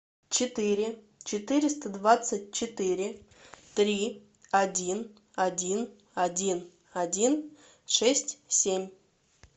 четыре четыреста двадцать четыре три один один один один шесть семь